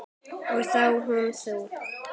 Og þá hún þú.